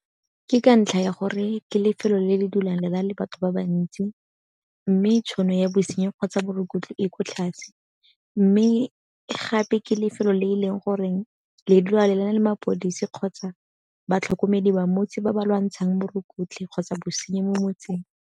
Ke ka ntlha ya gore ke lefelo le le dulang le na le batho ba bantsi. Mme tšhono ya bosenyi kgotsa borukgutlhi e ko tlase, mme gape ke lefelo le e leng goreng le dula le na le mapodisi kgotsa batlhokomedi ba motse ba ba lwantshang borukgutlhi kgotsa bosenyi mo motseng.